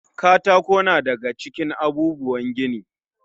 Katako na da ga cikin abubuwan gini.